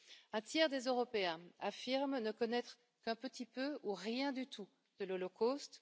Un tiers des Européens affirme ne connaître qu'un petit peu ou rien du tout de l'Holocauste.